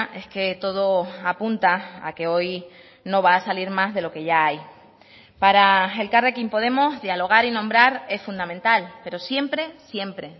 es que todo apunta a que hoy no va a salir más de lo que ya hay para elkarrekin podemos dialogar y nombrar es fundamental pero siempre siempre